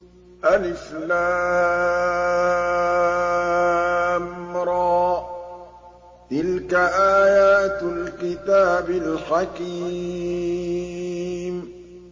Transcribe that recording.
الر ۚ تِلْكَ آيَاتُ الْكِتَابِ الْحَكِيمِ